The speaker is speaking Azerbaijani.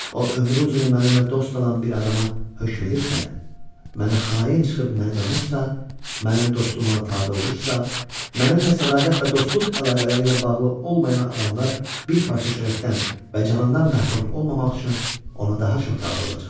O ömrü uzunu mənimlə dost olan bir adama hökm edirsə, mənə xain çıxıb məni danırsa, mənim dostum ona tabe olursa, mənimlə sədaqət və dostluq əlaqələri ilə bağlı olmayan adamlar bir parça çörəkdən və canından məhrum olmamaq üçün ona daha çox tabe olacaqlar.